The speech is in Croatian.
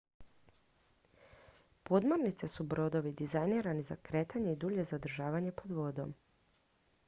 podmornice su brodovi dizajnirani za kretanje i dulje zadržavanje pod vodom